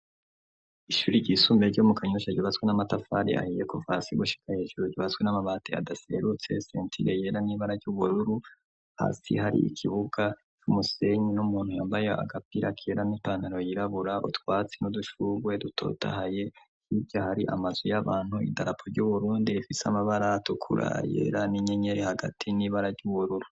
Ishuri ry'isumbe ryo mu kanyusha ribatswe n'amatafari ahiye kuvasigushika hejuru ribatswe n'amabate adaserutse sentile yera n'ibara ry'ubururu hasi hari ikibuga c'umusenyu n'umuntu yambaye agapirakera n'ipantero yirabura utwatsi n'udushugwe dutotahaye iryo ahari amazu y'abantu idarapo ry'uburundi rifisamo baratoukurayerani nyenyeri hagati n'iba araryuworora.